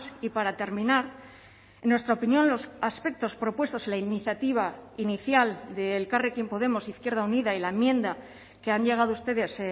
y para terminar en nuestra opinión los aspectos propuestos en la iniciativa inicial de elkarrekin podemos izquierda unida y la enmienda que han llegado ustedes